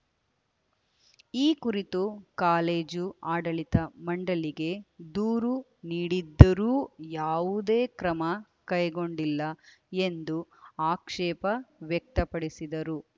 ಈ ಕುರಿತು ಕಾಲೇಜು ಆಡಳಿತ ಮಂಡಳಿಗೆ ದೂರು ನೀಡಿದ್ದರೂ ಯಾವುದೇ ಕ್ರಮ ಕೈಗೊಂಡಿಲ್ಲ ಎಂದು ಆಕ್ಷೇಪ ವ್ಯಕ್ತಪಡಿಸಿದರು